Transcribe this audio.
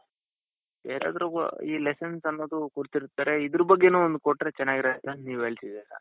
ಯಾರದ್ರು ಈ lesson ಕೊಡ್ತಿರ್ತಾರೆ ಇದರ ಬಗ್ಗೇನೂ ಒಂದ್ ಕೊಟ್ರೆ ಚೆನ್ನಾಗಿರುತ್ತೆ ಅಂತ ನೀವ್ ಹೇಳ್ತಿದ್ದೀರಾ.